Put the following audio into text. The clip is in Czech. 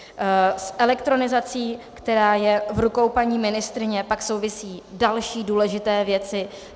S elektronizací, která je v rukou paní ministryně, pak souvisí další důležité věci.